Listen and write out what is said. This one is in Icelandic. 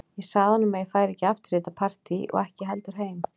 Ég sagði honum að ég færi ekki aftur í þetta partí og ekki heldur heim.